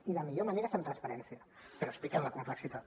i la millor manera és amb transparència però explicant la complexitat